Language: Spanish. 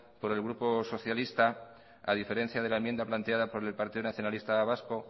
por el grupo socialista a diferencia por la enmienda planteada por el partido nacionalista vasco